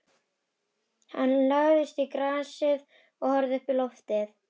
Hann lagðist í grasið og horfði uppí loftið.